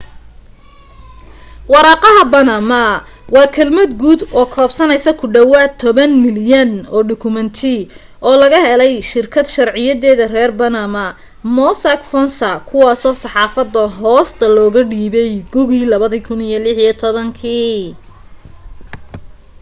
waraaqaha baanama waa kelmad guud oo koobsanaysa ku dhawaad toban milyan oo dukumeenti oo laga helay shirkad sharciyeeda reer baanama mossack fonseca kuwaasoo saxaafadda hoosta looga dhiibay gugii 2016